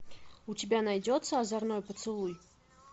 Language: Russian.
у тебя найдется озорной поцелуй